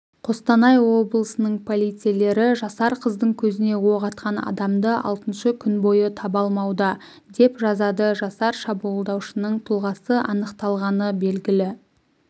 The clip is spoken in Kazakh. қостанай облысының полицейлері жасар қыздың көзіне оқ атқан адамды алтыншы күн бойы табалмауда деп жазады жасар шабуылдаушының тұлғасы анықталғаны белгілі